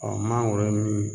mangoro min